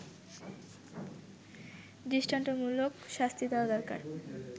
দৃষ্টান্তমূলক শাস্তি দেয়া দরকার